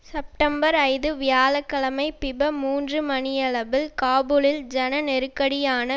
September ஐந்து வியாழ கிழமை பிப மூன்று மணியளவில் காபுலில் சன நெருக்கடியான